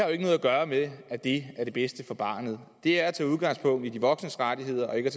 jo ikke noget at gøre med at det er det bedste for barnet det er at tage udgangspunkt i de voksnes rettigheder og ikke